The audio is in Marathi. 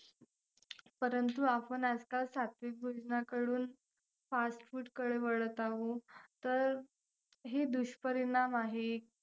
परंतु आपण आजकाल सात्विक भोजनाकडून fast food कडे वळत आहोत, तर हे दुष्परिणाम आहेत.